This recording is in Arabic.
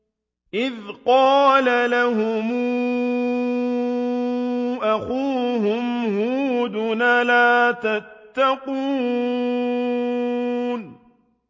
إِذْ قَالَ لَهُمْ أَخُوهُمْ هُودٌ أَلَا تَتَّقُونَ